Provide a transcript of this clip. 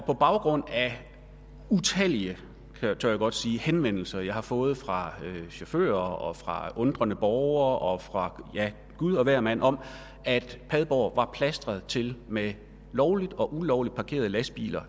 på baggrund af utallige tør jeg godt sige henvendelser jeg har fået fra chauffører og fra undrende borgere og fra gud og hver mand om at padborg var plastret til med lovligt og ulovligt parkerede lastbiler